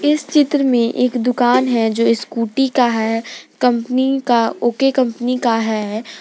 इस चित्र में एक दुकान है जो स्कूटी का है कंपनी का ओ_के कंपनी का है।